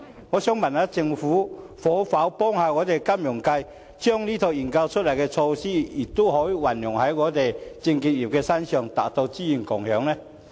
我想問政府可否幫助金融界，把這套研究出來的平台運用在證券業之上，達到資源共享呢？